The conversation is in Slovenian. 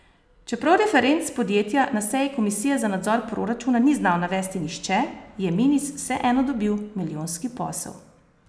Čeprav referenc podjetja na seji komisije za nadzor proračuna ni znal navesti nihče, je Minis vseeno dobil milijonski posel.